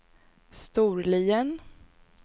Storlien